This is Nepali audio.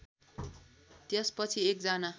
त्यसपछि एक जना